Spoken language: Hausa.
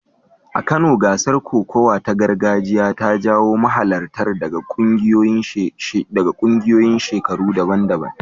A Kano, gasar kokawa ta gargajiya ta jawo mahalarta daga ƙungiyoyin shekaru daban-daban.